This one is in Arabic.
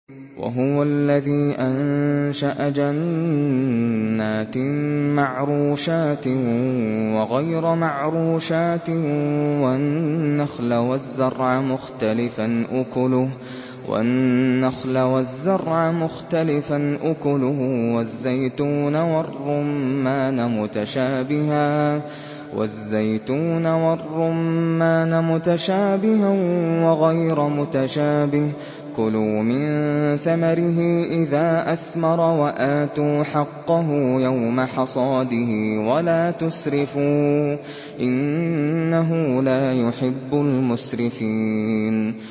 ۞ وَهُوَ الَّذِي أَنشَأَ جَنَّاتٍ مَّعْرُوشَاتٍ وَغَيْرَ مَعْرُوشَاتٍ وَالنَّخْلَ وَالزَّرْعَ مُخْتَلِفًا أُكُلُهُ وَالزَّيْتُونَ وَالرُّمَّانَ مُتَشَابِهًا وَغَيْرَ مُتَشَابِهٍ ۚ كُلُوا مِن ثَمَرِهِ إِذَا أَثْمَرَ وَآتُوا حَقَّهُ يَوْمَ حَصَادِهِ ۖ وَلَا تُسْرِفُوا ۚ إِنَّهُ لَا يُحِبُّ الْمُسْرِفِينَ